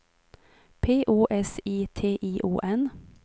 P O S I T I O N